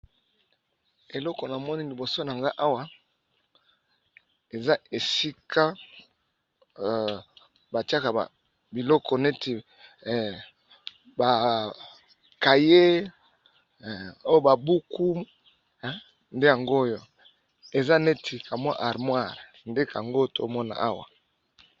Eloko na moni liboso na nga awa eza esika batiaka biloko neti bakaye o babuku nde yango oyo eza neti kamwa armoire nde kango tomona awa.